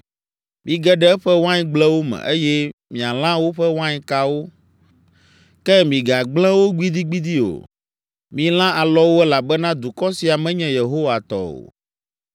“Mige ɖe eƒe waingblewo me eye mialã woƒe wainkawo. Ke migagblẽ wo gbidigbidi o. Milã alɔwo elabena dukɔ sia menye Yehowa tɔ o.